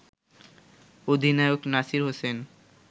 অধিনায়ক নাসির হোসেন